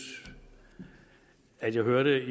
at jeg hørte